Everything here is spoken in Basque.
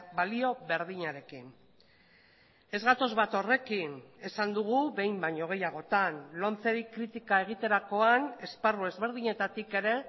balio berdinarekin ez gatoz bat horrekin esan dugu behin baino gehiagotan lomceri kritika egiterakoan esparru ezberdinetatik ere